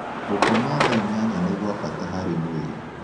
Gũkoma thaa ĩnyanya nĩ gwa bata harĩ mwĩrĩ